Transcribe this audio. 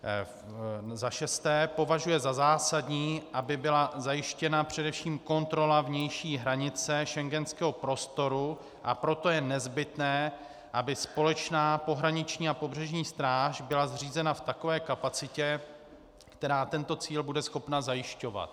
za šesté považuje za zásadní, aby byla zajištěna především kontrola vnější hranice schengenského prostoru, a proto je nezbytné, aby společná pohraniční a pobřežní stráž byla zřízena v takové kapacitě, která tento cíl bude schopna zajišťovat;